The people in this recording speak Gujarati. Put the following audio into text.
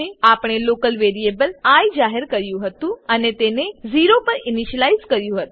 આપણે લોકલ વેરીએબલ આઇ જાહેર કર્યું હતું અને તેને 0 પર ઇનીશલાઈઝ કર્યું હતું